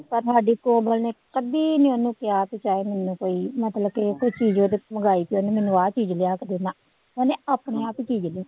ਪਰ ਸਾਡੀ ਕੋਮਲ ਨੇ ਕਦੇ ਨੀ ਉਹਨੂੰ ਕਿਹਾ ਵੀ ਚਾਹੇ ਮੈਨੂੰ ਕੋਈ ਮਤਲਬ ਕਿ ਕੋਈ ਚੀਜ਼ ਉਹਦੇ ਮੰਗਵਾਈ ਤੇ ਉਹਨੇ ਮੈਨੂੰ ਆਹ ਚੀਜ਼ ਲਿਆ ਕੇ ਦੇ, ਨਾ ਉਹਨੇ ਆਪਣੇ ਆਪ ਹੀ ਚੀਜ਼ ਲੈ